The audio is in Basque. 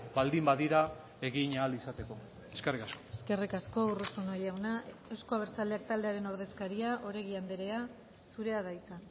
baldin badira egin ahal izateko eskerrik asko eskerrik asko urruzuno jauna euzko abertzaleak taldearen ordezkaria oregi andrea zurea da hitza